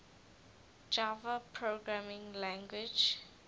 java programming language